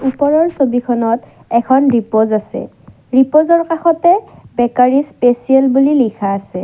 ওপৰৰ ছবিখনত এখন ৰিপজ আছে ৰিপজৰ কাষতে বেকাৰী স্পেচিয়েল বুলি লিখা আছে।